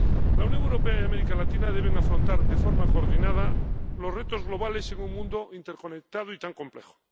La Unión Europea y América Latina deben afrontar de forma coordinada los retos globales en un mundo interconectado y tan complejo.